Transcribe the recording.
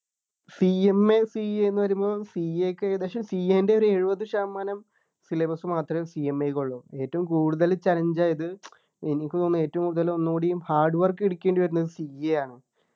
CMACA ന്ന് പറയുമ്പോ CA ക്ക് ഏകദേശം CA ൻ്റെ ഒരു എഴുപതു ശതമാനം syllabus മാത്രമേ CMA കുള്ളൂ ഏറ്റവും കൂടുതൽ challenge ആയത് എനിക്ക് തോന്നുന്നു ഏറ്റവും കൂടുതൽ ഒന്നുകൂടി hardwork എടുക്കേണ്ടി വരുന്നത് CA ആണ്